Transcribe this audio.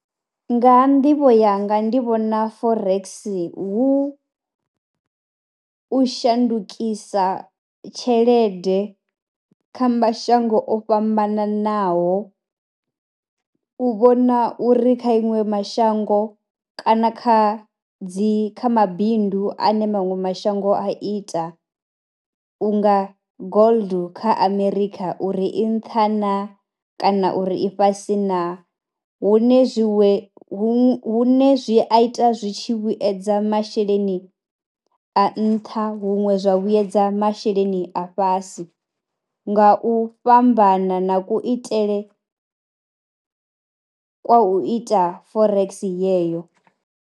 Nga nḓivho yanga ndi vhona forex hu u shandukisa tshelede kha mashango o fhambananaho, u vhona uri kha iṅwe mashango kana kha dzi kha mabindu a ne maṅwe mashango a ita u nga gold kha Amerikha uri i nṱha naa kana uri i fhasi naa. Hune zwi we hune zwi a ita zwi tshi vhuyedza masheleni a nṱha huṅwe zwa vhuyedza masheleni a fhasi nga u fhambana na kuitele kwa u ita forex yeyo.